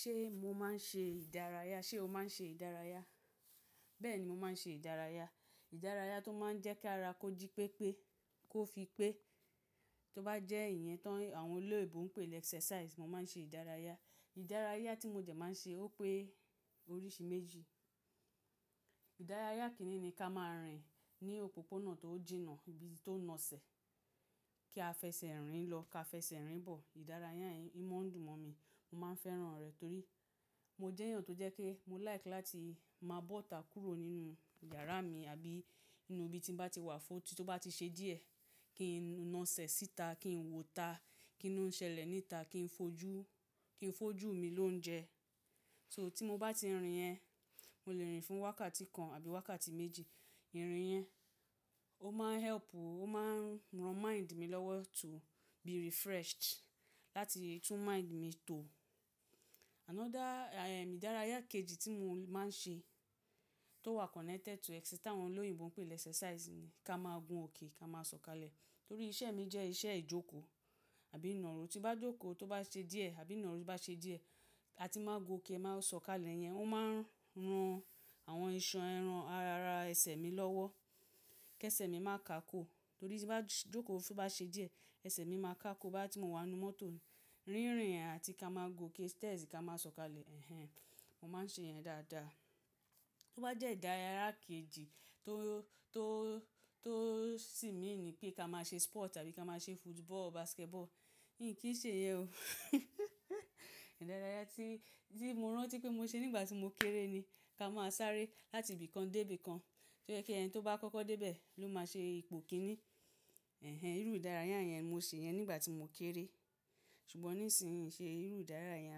Ṣé mo máa ń ṣe ìdárayá? Ṣé o máa ń ṣe ìdárayá? Bẹ́ẹ̀ ni mo máa ń ṣe ìdárayá. Ìdárayá tó máa ń jẹ́ kí ara kó jí pépé, kó fi pé, tó bá jẹ́ èye ti àwọn olóyibo ń pè ẹ́xẹrsáisì, mo máa ń ṣe ìdárayá. Ìdárayá tí mo jẹ̀ máa ń ṣe ó pé oríṣi méjì. Ìdárayá kénìní ká máa rìn ní òpópónà tó jìnà, ibi tó naṣẹ̀, kí a fẹsẹ̀ rìn lọ ká fẹsẹ̀ rìn bọ̀. Ìdárayá yẹn ò mo dùn mọ̀ mí, mo máa ń fẹ́ràn rẹ̀ torí mo jẹ́ ènìyàn tó jẹ́ pe mo láìkí láti máa bọ́ta kúrò nínú iyàrá mi àbí nínú ibi tí mo bá ti wà fódì tó bá ti ṣe díẹ̀ kí n naṣẹ̀ síta, kí n wọ́ta, kí lo n ṣẹlẹ̀ níta, kí n fojú, kí n fojú mi lóúnjẹ. So tí mo bá ti rìn yẹn, mo lè rìn fún wákàtí kan àbí wákàtí méjì. Ìrìn yẹn ó máa ń help, ó máa ń ran mind mi lọ́wọ́ to be refreshed láti tún mind mi tò. Another ẹ̀dárayá kejì tí mo máa ń ṣe tó wà connected to ẹ́xì tí àwọn olóyèbo ń pè lẹ́xẹrsáisì ni ká máa gun òkè ká máa sọ̀kalẹ̀. Torí iṣẹ́ mi jẹ́ iṣẹ́ ìjòkó àbí ìnàró. Tí bá jòkó tó bá ṣe díẹ̀ àbí nàró bá ṣe díẹ̀, a ti máa gun òkè, máa sọ̀kalẹ̀ yẹn. Ó máa ń ran àwọn iṣan ẹran ara ẹsẹ̀ mi lọ́wọ́ kí ẹsẹ̀ mi má káko. Torí tí bá jòkó tó bá ṣe díẹ̀, ẹsẹ̀ mi máa káko boyá tí mo wà nínú mọ́tò. Rínrin àti ká máa gun òkè stairs ká máa sọ̀kalẹ̀. Ẹ̀hẹn, mo máa ń ṣe yẹn dáadáa. Tó bá jẹ́ ìdárayá kejì tó, tó, tó sì meaní pé ká máa ṣe sport àbí ká máa ṣe football, basketball, mi kì í ṣe ìyẹn o. Ìdárayá tí, tí mo rántí pé mo ṣe nígbà tí mo kéré ni ká máa sáré láti ibìkan dé ibìkan tó jẹ́ pé ẹni tó bá kọ́kọ́ dé bẹ̀ ló máa ṣe ipò kíní. Ẹ̀hẹn, irú ìdárayá yẹn mo ṣe yẹn nígbà tí mo kéré. Ṣùgbọ́n nísinyí mio ṣe irú ìdárayá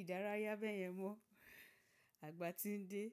ìdárayá bẹ́ẹ̀ yẹn mọ. Àgbà ti ń dé.